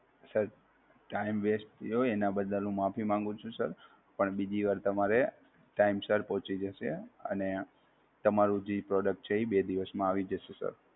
Sir Time West થ્યો એનાં બદ્દલ હું માફી માંગુ છું Sir, પણ બીજી વાર તમારે Time Sir પહોંચી જસે અને તમારું જે Product છે એ બે દિવસ માં આવી જશે Sir.